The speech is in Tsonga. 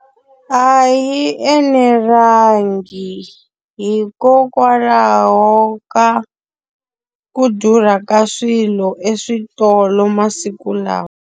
A yi enelangi hikokwalaho ka ku durha ka swilo eswitolo masiku lawa.